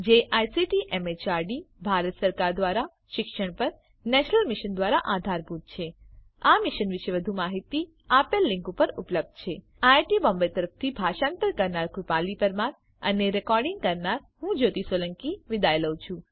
જે ICT MHRD Bharat સરકાર દ્વારા શિક્ષણ પર નેશનલ મિશન દ્વારા આધારભૂત છે આ મિશન વિશે વધુ માહીતી આ લીંક ઉપર ઉપલબ્ધ છે spoken hyphen tutorial dot org slash NMEICT hyphen intro IIT Bombay તરફથી ભાષાંતર કરનાર હું કૃપાલી પરમાર વિદાય લઉં છું